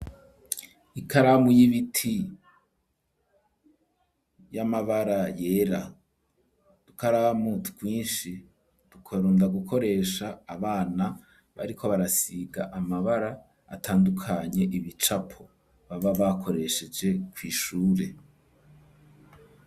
Ikaramu y'ibiti y'amabara yera udukaramu twishi dukunda gukoresha abana bariko barasiga amabara atandukanye ibicapo baba bakoresheje kw'ishure